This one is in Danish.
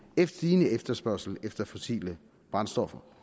en stigende efterspørgsel efter fossile brændstoffer